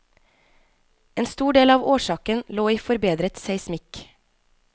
En stor del av årsaken lå i forbedret seismikk.